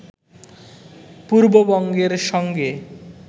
পূর্ববঙ্গের সঙ্গে